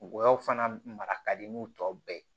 Ngɔyɔ fana mara ka di n'u tɔ bɛɛ ye